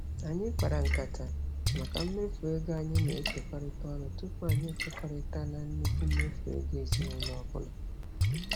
Anyị kpara nkata maka mmefu ego anyị na-ekekọrịta ọnụ tụpụ anyị ekwekọrịta na nnukwu mmefu ego ezinaụlọ ọbụla.